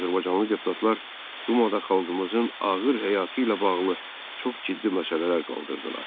Azərbaycanlı deputatlar Dumada xalqımızın ağır həyatı ilə bağlı çox ciddi məsələlər qaldırdılar.